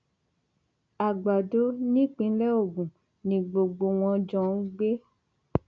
àgbàdo nípínlẹ ogun ni gbogbo wọn jọ ń gbé